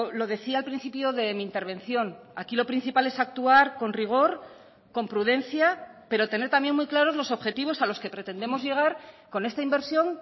lo decía al principio de mi intervención aquí lo principal es actuar con rigor con prudencia pero tener también muy claros los objetivos a los que pretendemos llegar con esta inversión